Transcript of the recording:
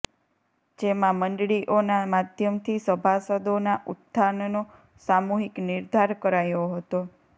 જેમાં મંડળીઓના માધ્યમથી સભાસદોના ઉત્થાનનો સામૂહિક નિર્ધાર કરાયો હતો